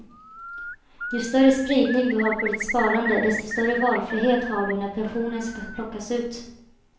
Ju större spridning du har på ditt sparande desto större valfrihet har du när pensionen ska plockas ut.